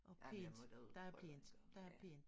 Ej men jeg må der ud det må jeg gøre ja